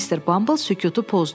Mr. Bumble sükutu pozdu.